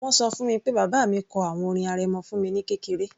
Wọ́n ṣọ fún mi pé bàbá mi kọ àwọn orin arẹmọ fún mi ní kékeré